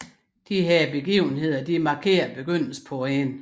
Disse begivenheder markerer begyndelse på enden